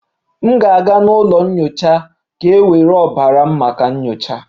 M ga-aga n'ụlọ nyocha ka e were ọbara m maka nyocha